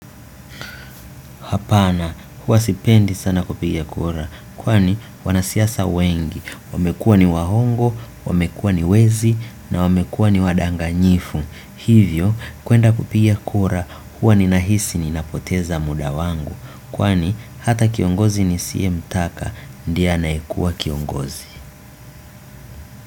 Hapana, huwa sipendi sana kupiga kura, kwani wanasiasa wengi. Wamekuwa ni waongo, wamekuwa ni wezi, na wamekuwa ni wadanganyifu. Hivyo, kwenda kupiga kura, huwa ninahisi ni napoteza muda wangu. Kwani, hata kiongozi nisiye mtaka, ndi anayekua kiongozi.